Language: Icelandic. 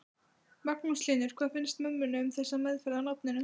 Magnús Hlynur: Hvað finnst mömmunni um þessa meðferð á nafninu?